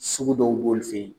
Sugu dɔw b'olu fɛ yen.